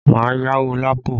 Má yáwó Lapo!